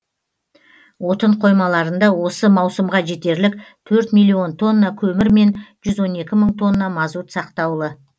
отын қоймаларында осы маусымға жетерлік төрт миллион тонна көмір мен жүз он екі мың тонна мазут сақтаулы